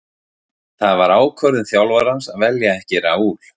Það var ákvörðun þjálfarans að velja ekki Raul.